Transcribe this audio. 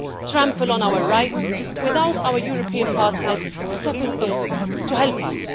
trample on our rights again without our European partners stepping in to help us.